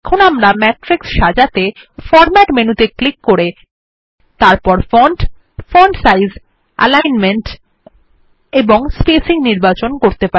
এখন আমরা ম্যাট্রিক্স সাজাতে ফরম্যাট মেনুতে ক্লিক করে তারপর ফন্ট ফন্ট সাইজ অ্যালিগ্নমেন্ট এবং স্পেসিং নির্বাচন করতে পারি